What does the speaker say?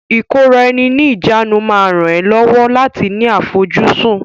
Ìkóra-ẹni-ní-ìjánu máa ràn ẹ́ lọ́wọ́ láti ní àfojúsùn.